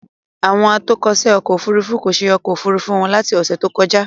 Àwọn atọ́kọ̀ṣe ọkọ òfurufú kò ṣe ọkọ̀ Òfurufú wọn láti ọ́sẹ̀ tó kọjá.